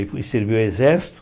Aí fui servir o exército.